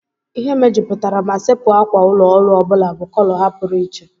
Ihe mejupụtara ma sepu ákwà ụlọ ọrụ ọ bụla bụ kọlọ ha pụrụ iche.